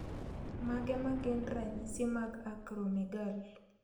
Mage magin ranyisi mag Acromegaly